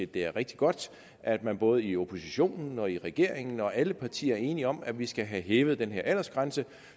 det er rigtig godt at man både i oppositionen og i regeringen og i alle partier er enige om at vi skal have hævet den her aldersgrænse